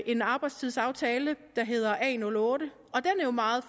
en arbejdstidsaftale der hedder a08 og den er jo meget